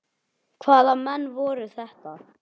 Hvaða menn voru þetta.